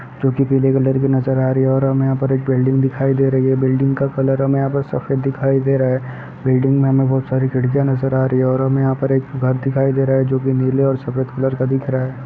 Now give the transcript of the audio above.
जोकि पीले कलर की नजर आ रही है और हमें यहां पे एक बिल्डिंग दिखाई दे रही है बिल्डिंग का कलर हमें यह पे सफेद दिखाई दे रहा है बिल्डिंग मे हमें बहुत सारी खिड़कियां नजर आ रही है और हमे यहां पे एक घर दिखाई दे रहा है जोकि नीले और सफेद कलर का दिख रहा है।